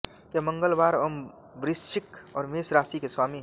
यह मंगलवार व वृश्चिक और मेष राशि के स्वामी है